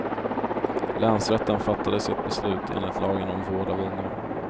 Länsrätten fattade sitt beslut enligt lagen om vård av unga.